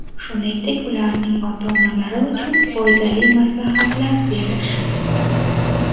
shuningdek ularning ota-onalari uchun foydali maslahatlar berish.